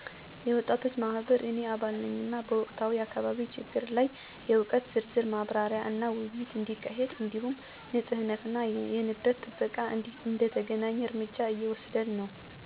የወጣቶች ማህበር – እኔ አባል ነኝ፣ እና በወቅታዊ የአካባቢ ችግሮች ላይ የእውቀት ዝርዝር ማብራሪያና ውይይት እንዲካሄድ እንዲሁም ንፁህነትና የንብረት ጥበቃ እንዲተገናኝ እርምጃ እየወሰድን ነን። 2. የሴቶች እና ልጆች ደኅንነት ቡድን – እንደ ተከታታይ ተሳታፊ እንዲሁም አባል፣ በአካባቢው ውስጥ የሴቶች መብት ማስተዋልና የደህንነት መከታተያ ስራዎች ላይ እየተሳተፍኩ ነኝ። 3. የአካባቢ የልማት ኮሚቴ – በእነዚህ ውስጥ እንደ አባል እና አንዳንድ ጊዜ እንደ መነሻ ሃላፊ ተግባራዊ ስራዎችን እየተሳተፍኩ ነኝ።